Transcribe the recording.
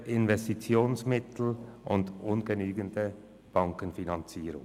fehlende Investitionsmittel und ungenügende Bankenfinanzierungen.